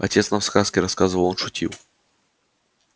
отец нам сказки рассказывал он шутил